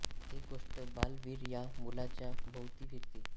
ही गोष्ट बाल वीर या मुलाच्या भोवती फिरते